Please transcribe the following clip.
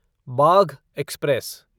Bagh express